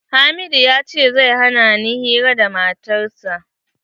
Hamidu ya ce zai hana ni hira da matar sa.